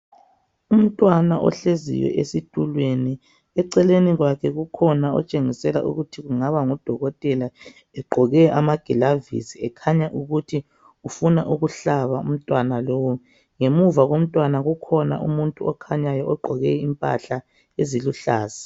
Umntwana ohleziyo esitulweni. Eceleni kwakhe ukhona ohleziyo otshengisela ukuthi angaba ngudokotela, egqoke amagilavisi ekhanya ukuthi ufuna ukuhlaba umnwana lowu. Ngemuva kukhanya umuntu okhanyayo ogqoke impahla eziluhlaza.